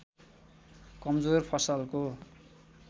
कमजोर फसलको